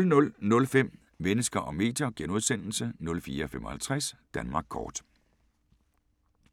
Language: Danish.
00:05: Mennesker og medier * 04:55: Danmark Kort *